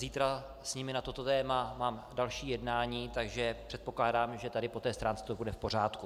Zítra s nimi na toto téma mám další jednání, takže předpokládám, že tady po té stránce to bude v pořádku.